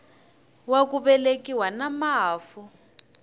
wa ku velekiwa na mafu